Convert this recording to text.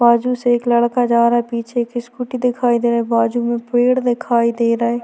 बाजु से एक लड़का जा रहा है पीछे एक स्कूटी दिखाई दे रहा है बाजु में पेड़ दिखाई दे रहे--